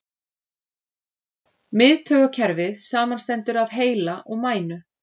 Miðtaugakerfið samanstendur af heila og mænu.